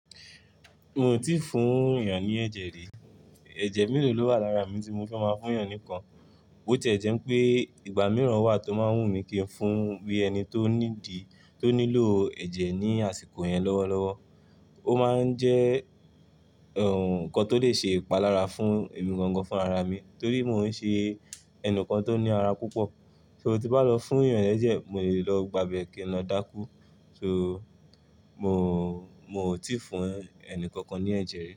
Mi ò tíì fún èeyan ní ẹ̀jẹ̀ rí. Ẹ̀jẹ̀ mélòó ló wà lára mi tí mo fẹ́ máa fún ènìyàn nìkan? Bi oti e jẹ̀ pé ìgbà mìíràn wà tó máa ń wù mí kí n fún bí ẹni tó "need", tó nílò ẹ̀jẹ̀ ní àsìkò yẹn lọ́wọ́ lọ́wọ́. Ó máa ń jẹ́, ehn, nǹkan tó lè ṣe ìpalára fún èmi gangan fún ara mi, torí mo ń ṣe ẹnikan tó ní ara púpọ̀. "So" tí bá lọ fún èeyan lẹ́jẹ̀, mo lè lọ gba ìbẹ́ kin lọ dákú. "So" mo, mo ò tíì fún ẹni kankan ní ẹ̀jẹ̀ rí.